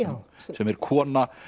sem er kona